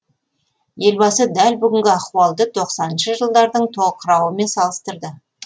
елбасы дәл бүгінгі ахуалды тоқсаныншы жылдардың тоқырауымен салыстырды